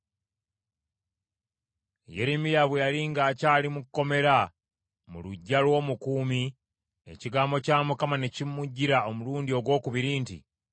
Yeremiya bwe yali ng’akyali mu kkomera mu luggya lw’omukuumi, ekigambo kya Mukama ne kimujjira omulundi ogwokubiri nti,